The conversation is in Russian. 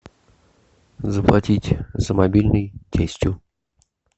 заплатить за мобильный тестю